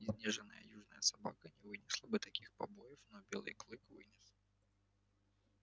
изнеженная южная собака не вынесла бы таких побоев но белый клык вынес